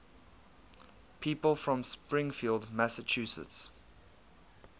people from springfield massachusetts